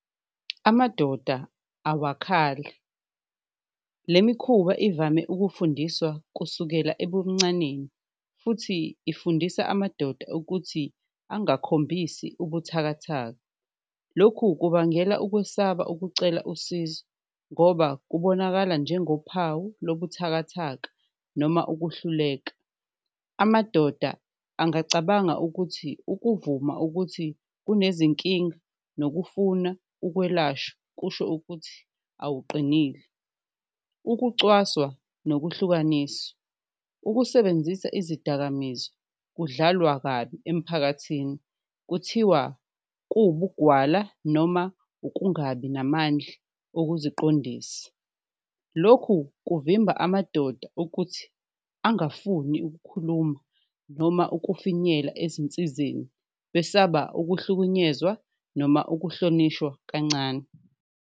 Amadoda awakhali le mikhuba ivame ukufundiswa kusukela ebuncaneni futhi ifundisa amadoda ukuthi angakhombisi ubuthakathaka, lokhu kubangela ukwesaba ukucela usizo ngoba kubonakala njengophawu lobuthakathaka noma ukuhluleka. Amadoda angacabanga ukuthi ukuvuma ukuthi unezinkinga nokufuna ukwelashwa kusho ukuthi awuqinile, ukucwaswa nokuhlukaniswa, ukusebenzisa izidakamizwa kudlalwa kabi emphakathini kuthiwa kuwubugwala noma ukungabi namandla okuziqondisa. Lokhu kuvimba amadoda ukuthi angafuni ukukhuluma noma ukufinyela ezinsizeni, besaba ukuhlukunyezwa noma ukuhlonishwa kancane.